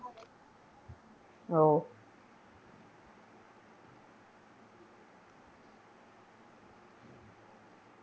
ഓ